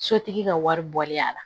Sotigi ka wari bɔli y'a la